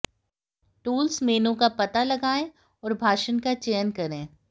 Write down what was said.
tools menu का पता लगाएं और भाषण का चयन करें